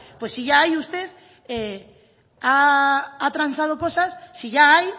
pues si ya hay usted ha transado cosas si ya hay